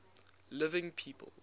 living people